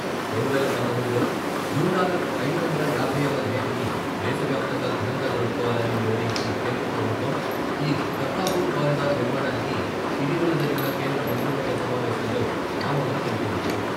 రెండువేల పంతొమ్మిదిలో గురునానక్ ఐదు వందల యాభైవ జయంతిని దేశ వ్యాప్తంగా ఘనంగా జరుపుకోవాలని నిర్ణయించిన కేంద్ర ప్రభుత్వం ఈ కర్తాపూర్ కారిడర్ నిర్మాణానికి ఇటీవల జరిగిన కేంద్ర మంత్రివర్గ సమావేశంలో ఆమోదం తెలిపింది.